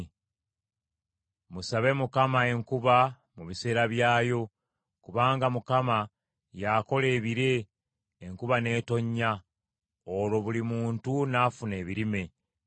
Musabe Mukama enkuba mu biseera byayo; kubanga Mukama y’akola ebire enkuba n’etonnya, olwo buli muntu n’afuna ebirime.